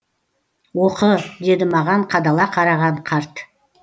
оқы деді маған қадала қараған қарт